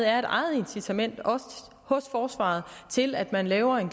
er et eget incitament hos forsvaret til at man laver en